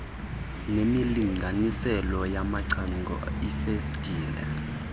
nemilinganiselo yamacango iifestile